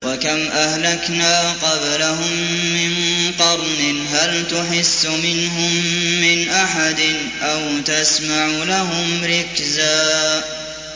وَكَمْ أَهْلَكْنَا قَبْلَهُم مِّن قَرْنٍ هَلْ تُحِسُّ مِنْهُم مِّنْ أَحَدٍ أَوْ تَسْمَعُ لَهُمْ رِكْزًا